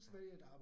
Ja